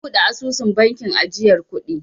Na buɗe asusun bankin ajiyar kuɗi.